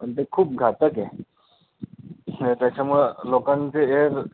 पण ते खूप घातक आहे नाही त्याच्यामुळे लोकांचे ear अं